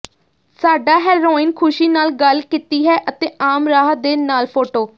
ਸਾਡਾ ਹੈਰੋਇਨ ਖ਼ੁਸ਼ੀ ਨਾਲ ਗੱਲ ਕੀਤੀ ਹੈ ਅਤੇ ਆਮ ਰਾਹ ਦੇ ਨਾਲ ਫੋਟੋ